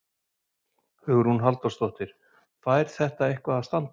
Hugrún Halldórsdóttir: Fær þetta eitthvað að standa?